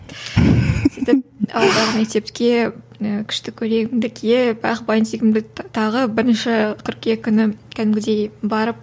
сөйтіп ауылдағы мектепке і күшті көйлегімді киіп ақ бантигімді тағып бірінші қыркүйек күні кәдімгідей барып